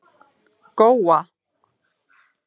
Góa